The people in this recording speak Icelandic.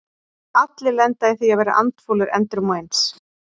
Allir lenda í því að vera andfúlir endrum og eins.